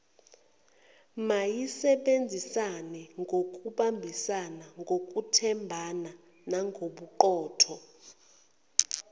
mayisebenzisanengokubambisana ngokwethembana nagobuqotho